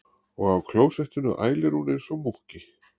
Og á klósettinu ælir hún einsog múkki.